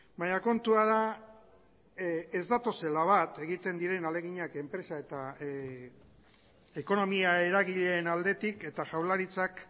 baina kontua da ez datozela bat egiten diren ahaleginak enpresa eta ekonomia eragileen aldetik eta jaurlaritzak